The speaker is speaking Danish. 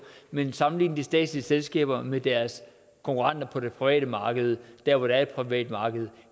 men sammenligne de statslige selskaber med deres konkurrenter på det private marked der hvor der er et privat marked